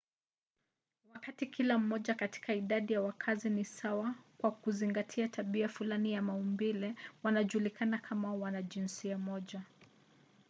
wakati kila mmoja katika idadi ya wakazi ni sawa kwa kuzingatia tabia fulani ya maumbile wanajulikana kama wanajinsia moja